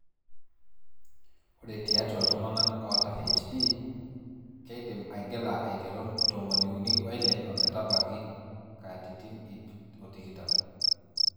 Ore tiatua ltunganak ota HD,keidim aigila aiteru tomoniuni oile ometabaiki katitin ip otikitam